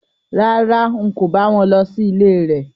Rárá, n kò bá wọn lọ sí ilé rẹ̀